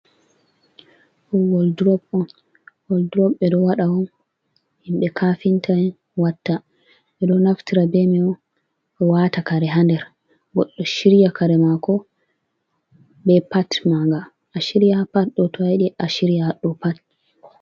Ɗum woldurop on woldurop ɓe ɗo waɗa on himɓe kaafinta watta. Ɓe ɗo naftira be man on waata kare ha nder. Goɗɗo shirya kare maako, be pat maanga, ashirya ha pat ɗo to ayiiɗi ashirya ha ɗo pat.